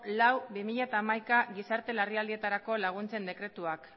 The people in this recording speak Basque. lau barra bi mila hamaika gizarte larrialdietarako laguntzen dekretuak